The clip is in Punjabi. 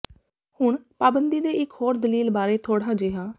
ਹੁਣ ਪਾਬੰਦੀ ਦੇ ਇਕ ਹੋਰ ਦਲੀਲ ਬਾਰੇ ਥੋੜ੍ਹਾ ਜਿਹਾ